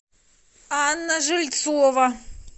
анна жильцова